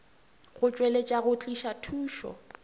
go tšweletša go tliša thušo